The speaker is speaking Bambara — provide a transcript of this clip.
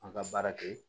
An ka baara kɛ